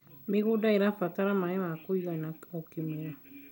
mĩgũnda irabatara maĩ ma kũigana o kĩmera